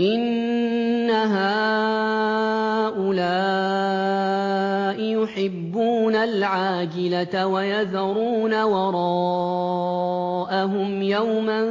إِنَّ هَٰؤُلَاءِ يُحِبُّونَ الْعَاجِلَةَ وَيَذَرُونَ وَرَاءَهُمْ يَوْمًا